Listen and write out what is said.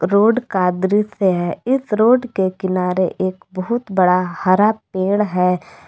Road का दृश्य है इस रोड के किनारे एक बहुत बड़ा हरा पेड़ है।